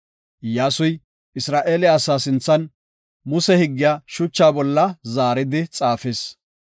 Iyyasuy, Isra7eele asaa sinthan, Muse higgiya shuchaa bolla zaari xaafis.